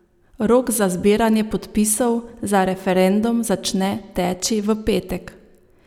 Rok za zbiranje podpisov za referendum začne teči v petek.